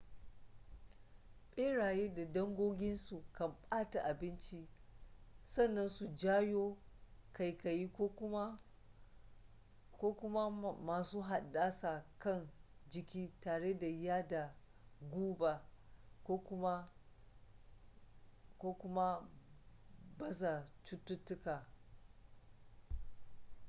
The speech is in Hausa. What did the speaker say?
beraye da dangoginsu kan bata abinci sannan su janyo kaikayi ko kuma ma su haddasa kan jiki tare da yada guba ko kuma ma baza cututtuka